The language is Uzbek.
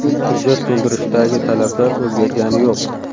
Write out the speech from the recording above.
Hujjat to‘ldirishdagi talablar o‘zgargani yo‘q.